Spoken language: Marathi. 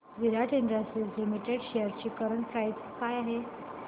विराट इंडस्ट्रीज लिमिटेड शेअर्स ची करंट प्राइस काय आहे